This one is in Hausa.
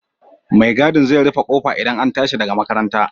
Mai gadin zai rufe ƙofa idan an tashi daga makaranta